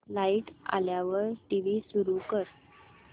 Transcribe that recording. light आल्यावर TV सुरू कर